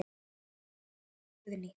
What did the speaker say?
Þín dóttir Guðný.